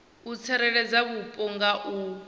u tsireledza vhupo nga u